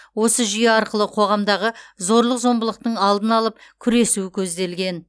осы жүйе арқылы қоғамдағы зорлық зомбылықтың алдын алып күресу көзделген